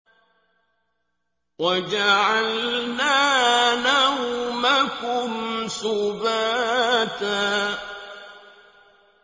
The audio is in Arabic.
وَجَعَلْنَا نَوْمَكُمْ سُبَاتًا